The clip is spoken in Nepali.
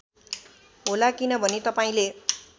होला किनभने तपाईँंले